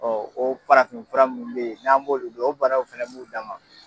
o farafin fura minnu bɛ ye n'an b'olu dɔn o banaw fana b'u dan ma.